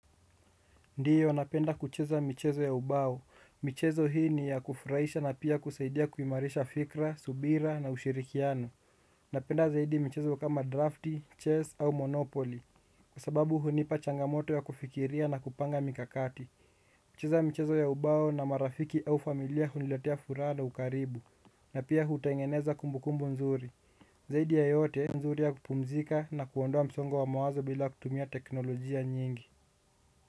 Ndiyo napenda kucheza michezo ya ubao. Michezo hii ni ya kufurahisha na pia kusaidia kuimarisha fikra, subira na ushirikiano. Napenda zaidi michezo kama drafti, chess au monopoly. Kwa sababu hunipa changamoto ya kufikiria na kupanga mikakati. Michezo ya ubao na marafiki au familia huniletea furaha na ukaribu. Na pia hutengeneza kumbukumbu nzuri. Zaidi ya yote nzuri ya kupumzika na kuondoa msongo wa mawazo bila kutumia teknolojia nyingi.